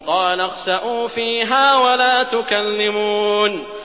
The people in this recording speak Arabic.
قَالَ اخْسَئُوا فِيهَا وَلَا تُكَلِّمُونِ